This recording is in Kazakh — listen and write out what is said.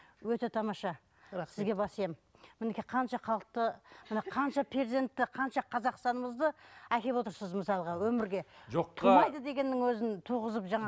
өте тамаша сізге бас иемін мінекей қанша халықты міне қанша перзентті қанша қазақстанымызды әкеліп отырсыз мысалға өмірге жоқ тумайды дегеннің өзін туғызып